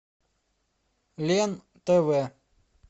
лен тв